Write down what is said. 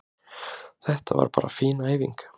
Þetta var bara fín æfing.